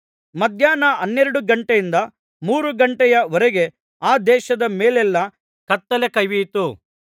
ಮಧ್ಯಾಹ್ನ ಹನ್ನೆರಡು ಘಂಟೆಯಿಂದ ಮೂರು ಘಂಟೆಯ ವರೆಗೆ ಆ ದೇಶದ ಮೇಲೆಲ್ಲಾ ಕತ್ತಲೆ ಕವಿಯಿತು